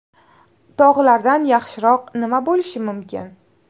Tog‘lardan yaxshiroq nima bo‘lishi mumkin?